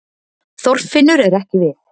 Þorfinnur er ekki við